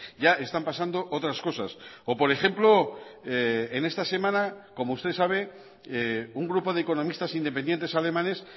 ya están pasando otras cosas o por ejemplo en esta semana como usted sabe un grupo de economistas independientes alemanes